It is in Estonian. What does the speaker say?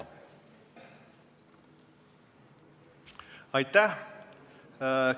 Aitäh!